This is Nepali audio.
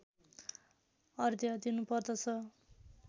अर्घ्य दिनुपर्दछ